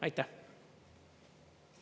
Aitäh!